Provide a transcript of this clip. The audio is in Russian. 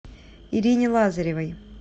ирине лазаревой